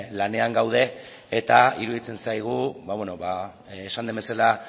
lanean gaude eta iruditzen zaigu esan den bezala